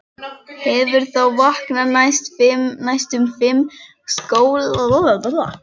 Hefur þá vakað næstum fimm sólarhringa samfleytt.